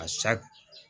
A sa